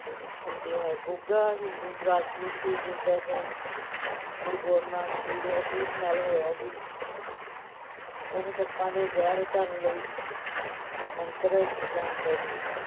ਹੁੰਦੀ ਹੈ, ਗੁੱਗਾ ਹਿੰਦੂ ਰਾਜਪੂਤ ਸੀ, ਜਿਸ ਦਾ ਜਨਮ ਗੁਰੂ ਗੋਰਖ ਨਾਥ ਜੀ ਦੇ ਅਸੀਸ ਨਾਲ ਹੋਇਆ ਸੀ ਉਹ ਸੱਪਾਂ ਦੇ ਜ਼ਹਿਰ ਉਤਾਰਨ ਲਈ ਮੰਤਰ ਜਾਣਦਾ ਸੀ।